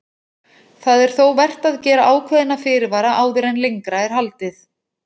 Það er þó vert að gera ákveðna fyrirvara áður en lengra er haldið.